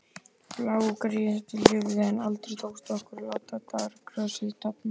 Blágresið lifði, en aldrei tókst okkur að láta dýragrasið dafna.